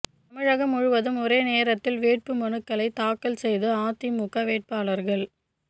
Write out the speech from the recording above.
தமிழகம் முழுவதும் ஒரே நேரத்தில் வேட்பு மனுக்களை தாக்கல் செய்த அதிமுக வேட்பாளர்கள்